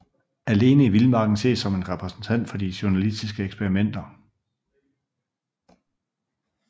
Alene i vildmarken ses som en repræsentant for de journalistiske eksperimenter